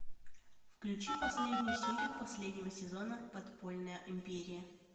включи последнюю серию последнего сезона подпольная империя